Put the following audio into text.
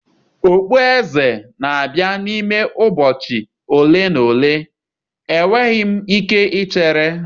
okpueze eze na-abịa n'ime ụbọchị ole na ole, enweghị m ike ichere.